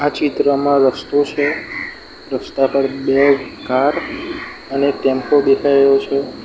આ ચિત્રમાં રસ્તો છે રસ્તા પર બે કાર અને ટેમ્પો દેખાય રહ્યો છે.